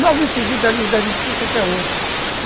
Logo em seguida, ali uns dez minutos, você quer outra.